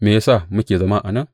Me ya sa muke zama a nan?